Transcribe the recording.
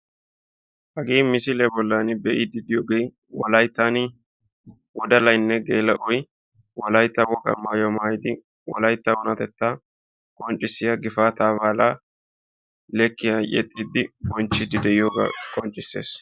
Hagee misiliya bollan be'idde de'iyooge wolaytta biittan leekiya yexxiidde de'iyooga besees.